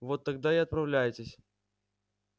вот тогда и отправляйтесь